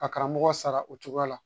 Ka karamɔgɔ sara o cogoya la